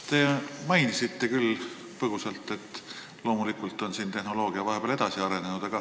Te mainisite põgusalt, et loomulikult on tehnoloogia vahepeal edasi arenenud.